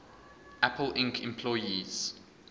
apple inc employees